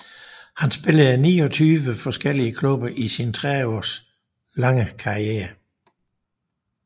Han spillede i 29 forskellige klubber i sin næsten 30 år lange karriere